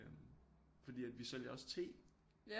Fordi at vi sælger også te